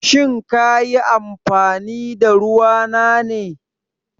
Shin ka yi amfani da ruwa na ne?